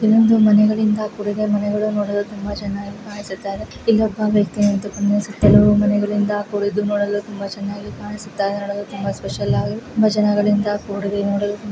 ಇಲ್ಲಿ ಒಂದು ಮನೆಗಳಿಂದ ಕೂಡಿದೆ ಮನೆಗಳು ನೋಡಲು ತುಂಬಾ ಚೆನ್ನಾಗಿ ಕಾಣಿಸುತ್ತಾ ಇದೆ ಇಲ್ಲೊಬ್ಬ ವ್ಯಕ್ತಿ ನಿಂತುಕೊಂಡು ಕೆಲವು ಮನೆಗಳಿಂದ ಕೂಡಿದ್ದು ನೋಡಲು ತುಂಬಾ ಚೆನ್ನಾಗಿ ಕಾಣಿಸುತ್ತಾ ಇದೆ. ನೋಡಲು ತುಂಬಾ ಸ್ಪೆಷಲ್ ಆಗಿ ತುಂಬಾ ಜನಗಳಿಂದ ಕೂಡಿದೆ ನೋಡಲು--